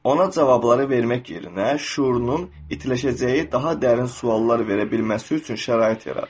Ona cavabları vermək yerinə, şüurunun itələyəcəyi daha dərin suallar verə bilməsi üçün şərait yarat.